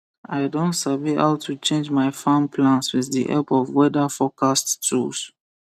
i don sabi how to change my farm plans with the help of weather forecast tools